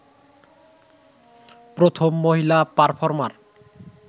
প্রথম মহিলা পারর্ফমার